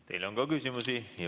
Teile on ka küsimusi.